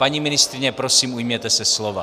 Paní ministryně, prosím, ujměte se slova.